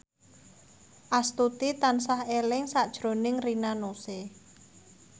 Astuti tansah eling sakjroning Rina Nose